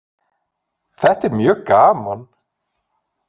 Þetta er mjög gaman